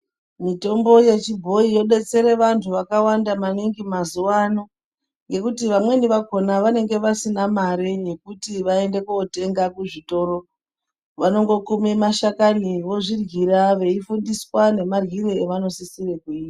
Mutombo yechibhoyi yodetsere vantu vakawanda maningi mazuvano ngekuti vamweni vakona vanenge vasina mare yekuti vaende kotenga kuzvitoro, vanongokume mashakani vozviryira veifundiswa nemaryire avanosisire kuita.